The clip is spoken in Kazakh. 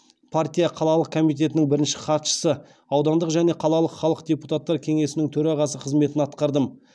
партия қалалық комитеттінің бірінші хатшысы аудандық және қалалық халық депутаттар кеңесінің төрағасы қызметін атқардым